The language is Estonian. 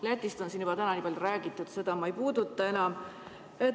Lätist on täna juba nii palju räägitud, et seda ma enam ei puuduta.